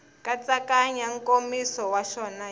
nkatsakanyo nkomiso wa xona hi